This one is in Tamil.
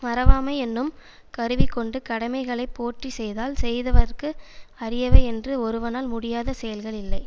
மறவாமை என்னும் கருவிகொண்டு கடமைகளைப் போற்றி செய்தால் செய்வதற்கு அரியவை என்று ஒருவனால் முடியாத செயல்கள் இல்லை